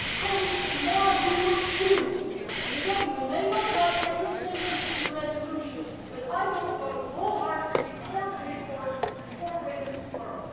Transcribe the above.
Colleagues, tomorrow we will choose and again we may not like every sentence in the resolution but I will vote wholeheartedly for the report and for women tomorrow.